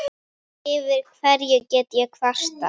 Yfir hverju get ég kvartað?